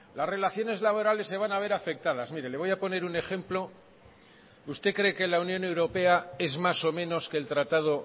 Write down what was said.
las relaciones laborales se van a ver afectadas mire le voy a poner un ejemplo usted cree que la unión europea es más o menos que el tratado